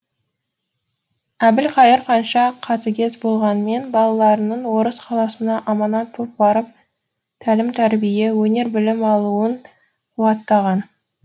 әбілқайыр қанша қатыгез болғанмен балаларының орыс қаласына аманат боп барып тәлім тәрбие өнер білім алуын қуаттаған